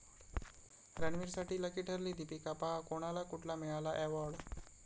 रणवीरसाठी lucky ठरली दीपिका, पहा कोणाला कुठला मिळाला अॅवाॅर्ड?